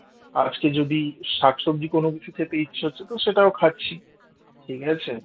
আজকে যদি শাকসবজি কোন কিছু খেতে ইচ্ছে হচ্ছে তো সেটাও খাচ্ছি ঠিক আছে